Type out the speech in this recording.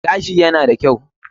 Gashi na da kyau.